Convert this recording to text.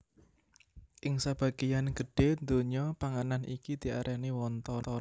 Ing sabagéyan gedhé donya panganan iki diarani wonton